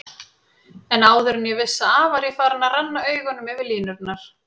En áður en ég vissi af var ég farinn að renna augunum yfir línurnar.